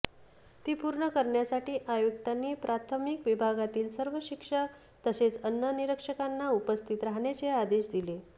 ती पूर्ण करण्यासाठी आयुक्तांनी प्राथमिक विभागातील सर्व शिक्षक तसेच अन्न निरीक्षकांना उपस्थित राहण्याचे आदेश दिले